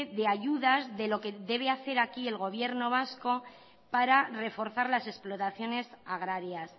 de ayudas de lo que debe hacer aquí el gobierno vasco para reforzar las explotaciones agrarias